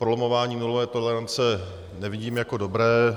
Prolamování nulové tolerance nevidím jako dobré.